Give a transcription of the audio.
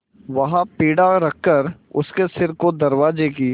वहाँ पीढ़ा रखकर उसने सिर को दरवाजे की